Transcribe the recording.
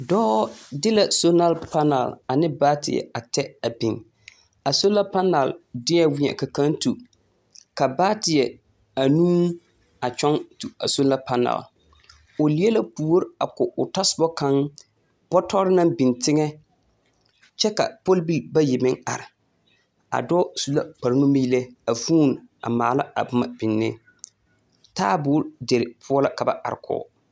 dɔɔ de la sola panal ane baateɛ a tɛ a biŋ. A sola panal deɛ weɛ ka kaŋa tu ka baateɛ anuu a kyɔŋ tu a sola panal. O leɛ la puori a ko o tɔsoba kaŋ bɔtɔre naŋ biŋ teŋɛ kyɛka pɔlbil bayi meŋ are. A dɔɔ su la kpare numeelɛ a vũũni a maala a boma bine. Taaboore deir poɔ la ka ba are kɔge.